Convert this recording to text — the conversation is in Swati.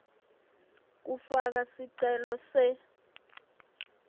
kufaka sicelo se